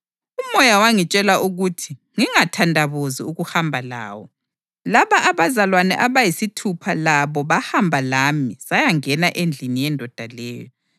UMoya wangitshela ukuthi ngingathandabuzi ukuhamba lawo. Laba abazalwane abayisithupha labo bahamba lami sayangena endlini yendoda leyo.